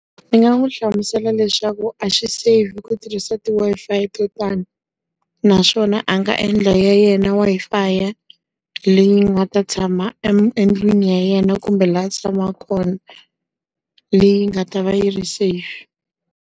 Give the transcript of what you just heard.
Ndzi nga n'wi hlamusela leswaku a swi safe ku tirhisa ti Wi-Fi to tani. Naswona a nga endla ya yena Wi-Fi. Leyi nga ta tshama endlwini ya yena kumbe laha a tshamaka kona, leyi nga ta va yi ri safe.